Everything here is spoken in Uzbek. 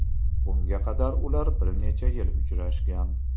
Bunga qadar ular bir necha yil uchrashgan.